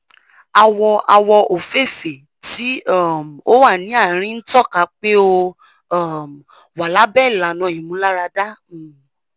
awọ awọ ofeefee ti um o wa ni aarin n tọka pe o um wa labẹ ilana imularada um